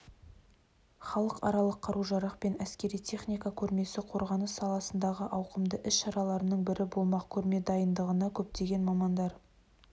халықаралық қару-жарақ пен әскери техника көрмесі қорғаныс саласындағы ауқымды іс-шаралардың бірі болмақ көрме дайындығына көптеген мамандар